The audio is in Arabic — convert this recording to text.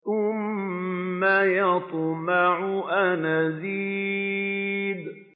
ثُمَّ يَطْمَعُ أَنْ أَزِيدَ